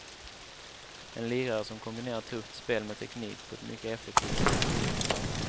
En lirare som kombinerar tufft spel med teknik på ett mycket effektivt sätt.